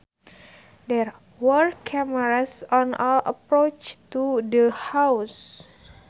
There were cameras on all approaches to the house